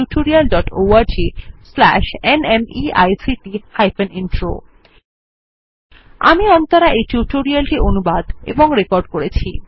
httpspoken tutorialorgNMEICT Intro আমি অন্তরা এই tutorial টি অনুবাদ এবং রেকর্ড করেছি